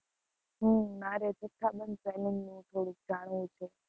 હમ મારે જથ્થાબંધ selling નું થોડુંક જાણવું છે.